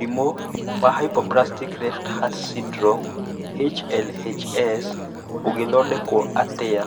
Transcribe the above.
Mũrimũ wa hypoplastic left heart syndrome (HLHS) ũngĩthondekwo atĩa?